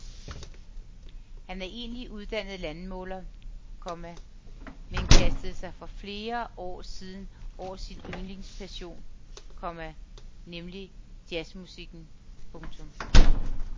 Han er egentlig uddannet landmåler, komma men kastede sig for flere år siden over sin yndlingspassion, komma nemlig jazzmusikken. punktum